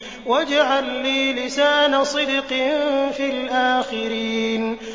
وَاجْعَل لِّي لِسَانَ صِدْقٍ فِي الْآخِرِينَ